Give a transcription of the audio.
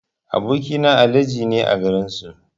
Aboki na Alhaji ne a garin su.